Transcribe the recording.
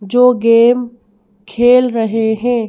जो गेम खेल रहे हैं।